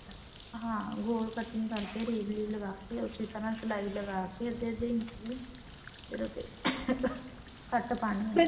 ਹਾਂ ਗੋਲ cutting ਕਰਕੇ rave reel ਲਗਾ ਕੇ ਉਸੇ ਤਰ੍ਹਾਂ ਸਲਾਈ ਲਗਾ ਕਿ ਅੱਧੇ ਅੱਧੇ ਇੰਚ ਦੀ ਫ਼ੇਰ ਉਹ੍ਤੇ ਕੱਟ ਪਾਉਣੇ